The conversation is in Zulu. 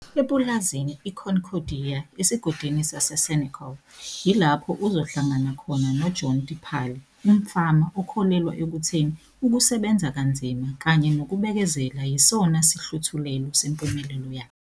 Epulazini iConcordia esigodini saseSenekal, yilapho uzohlangana khona noJohn Dipali, umfama okholelwa ekutheni ukusebenza kanzima kanye nokubekezela yisona sihluthulelo sempumelelo yakhe.